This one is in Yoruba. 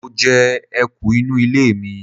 Mo je eku inu ile mi